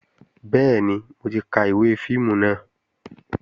Bẹ́ẹ̀ni, mo ti ka ìwé fíìmù náà